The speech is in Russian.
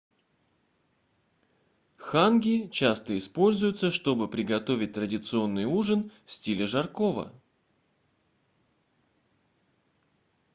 ханги часто используются чтобы приготовить традиционный ужин в стиле жаркого